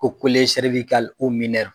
Ko